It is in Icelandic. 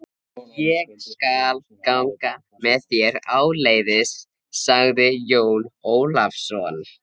Ég skal ganga með þér áleiðis, sagði Jón Ólafsson.